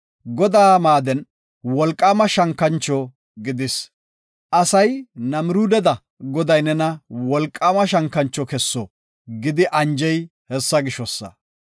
Godaa maaden wolqaama shankancho gidis. Asay, “Namiruudeda Goday nena wolqaama shankancho kesso” gidi anjey hessa gishosa.